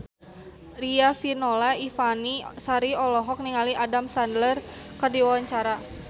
Riafinola Ifani Sari olohok ningali Adam Sandler keur diwawancara